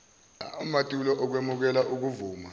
amatulo okwemukela okuvuma